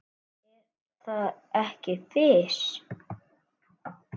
Er það ekki Fis?